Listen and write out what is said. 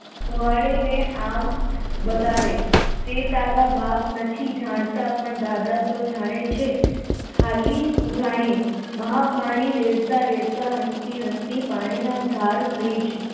ને આમ બગાડે તારા બાપ નથી જાણતા પણ દાદા તો જાણે છે હાલ મહાપાણી રેડતા રેડતા હસી